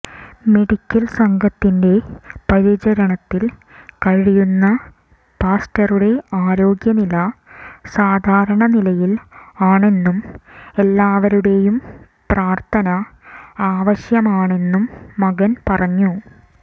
medical സംഘത്തിന്റെ പരിചരണത്തിൽ കഴിയുന്ന പാസ്റ്ററുടെ ആരോഗ്യനില സാധാരണ നിലയിൽ ആണെന്നും എല്ലാവരുടേയും പ്രാർത്ഥന ആവശ്യമാണെന്നും മകൻ പറഞ്ഞു